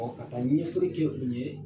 ka taa ɲɛfɔlɔ kɛ olu ye.